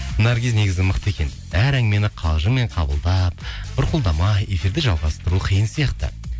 наргиз негізі мықты екен әр әңгімені қалжыңмен қабылдап бұрқылдамай эфирді жалғастыру қиын сияқты